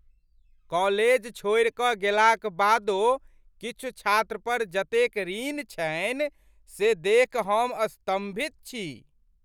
College छोड़िकऽ गेलाक बादो किछु छात्रपर जतेक ऋण छनि से देखि हम स्तम्भित छी।